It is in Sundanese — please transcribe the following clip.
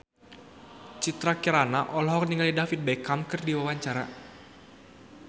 Citra Kirana olohok ningali David Beckham keur diwawancara